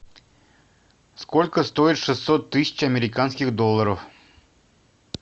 сколько стоит шестьсот тысяч американских долларов